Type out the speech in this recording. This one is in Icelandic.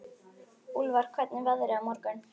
Úlfar, hvernig er veðrið á morgun?